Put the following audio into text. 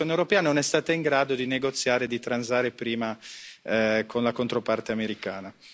La Commissione europea non è stata in grado di negoziare e di transare prima con la controparte americana.